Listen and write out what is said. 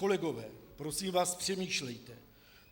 Kolegové, prosím vás, přemýšlejte.